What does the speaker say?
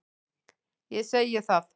Ég segi það.